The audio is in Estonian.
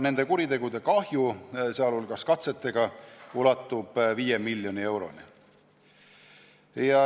Nende kuritegudega, sh katsetega tekitatud kahju ulatub 5 miljoni euroni.